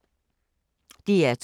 DR2